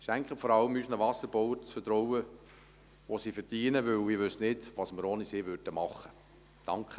Schenken Sie vor allem unseren Wasserbauern das Vertrauen, das sie verdienen, denn ich wüsste nicht, was wir ohne sie machen würden.